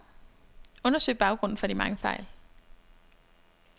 Undersøg baggrunden for de mange fejl.